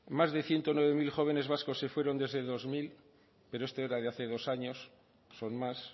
más de ciento nueve mil jóvenes vascos se fueron desde dos mil pero este era de hace dos años son más